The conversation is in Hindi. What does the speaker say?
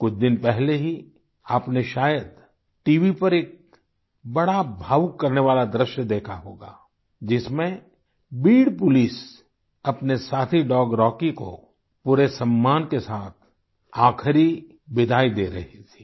कुछ दिन पहले ही आपने शायद टीवी पर एक बड़ा भावुक करने वाला दृश्य देखा होगा जिसमें बीड पुलिस अपने साथी डॉग रॉकी को पूरे सम्मान के साथ आख़िरी विदाई दे रही थी